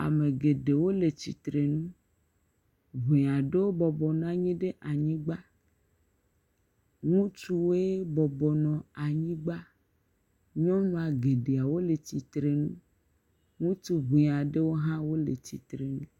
Ame geɖewo le tsitre nu, ŋee aɖewo bɔbɔ nɔ anyi ɖe anyigba. Ŋutsuwoe bɔbɔ nɔ anyigba. Nyɔnua geɖewo le tsitre nu. Ŋutsu ŋee aɖewo hã wole tsitre nu.